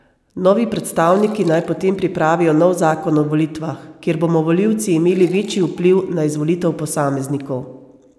Novi predstavniki naj potem pripravijo nov zakon o volitvah, kjer bomo volilci imeli večji vpliv na izvolitev posameznikov.